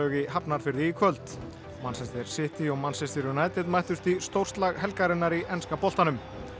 í Hafnarfirði í kvöld City og Manchester United mættust í helgarinnar í enska boltanum